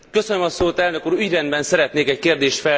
Ügyrendben szeretnék egy kérdést feltenni Önnek.